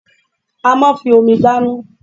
A máa ń fi Omi dáná